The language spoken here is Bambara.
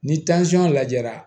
Ni lajɛra